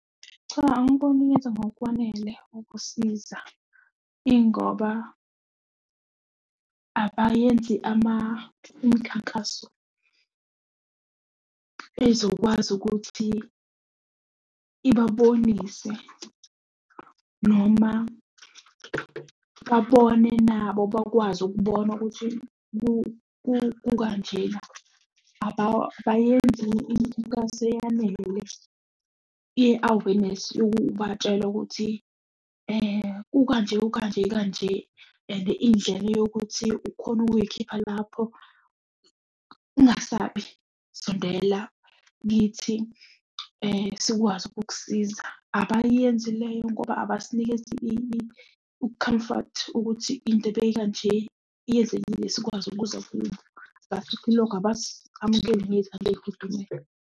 Cha, angiboni yenza ngokwanele ukusiza. Ingoba abayenzi imikhankaso ezokwazi ukuthi ibabonise noma babone nabo bakwazi ukubona ukuthi kukanjena. Abayenzi imikhankaso eyanele ye-awenesi yokubatshela ukuthi kukanje kukanje kanje and indlela yokuthi ukhona ukuy'khipha lapho, ungasabi, sondela kithi sikwazi ukukusiza. Abayenzi leyo ngoba abasinikezi ukhamfathi ukuthi into ebeyika nje, yenzekile sikwazi ukuza kubo. Asithi loko abasi-amukeli ngezandla ey'fudumele.